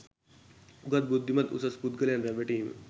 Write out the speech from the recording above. උගත් බුද්ධිමත් උසස් පුද්ගලයන් රැවටීම